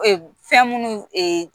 Fɛn munnu